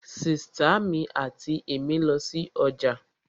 Sìtá mi àti èmí lọ sí ọjà